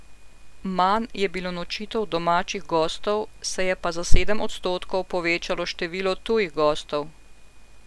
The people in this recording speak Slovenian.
Manj je bilo nočitev domačih gostov, se je pa za sedem odstotkov povečalo število tujih gostov.